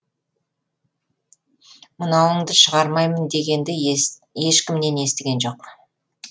мынауыңды шығармаймын дегенді ешкімнен естіген жоқ